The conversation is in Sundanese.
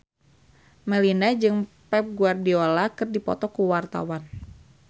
Melinda jeung Pep Guardiola keur dipoto ku wartawan